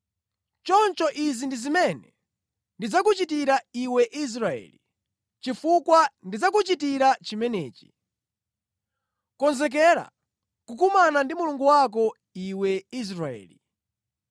“Choncho izi ndi zimene ndidzakuchitire iwe Israeli, chifukwa ndidzakuchitira zimenezi, konzekera kukumana ndi Mulungu wako, iwe Israeli.”